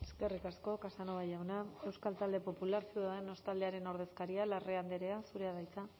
eskerrik asko casanova jauna euskal talde popular ciudadanos taldearen ordezkaria larrea andrea zurea da hitza